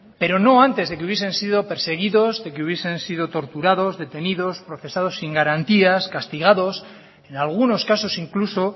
pero no antes de que hubiesen sido perseguidos de que hubiesen sido torturados detenidos procesados sin garantías castigados en algunos casos incluso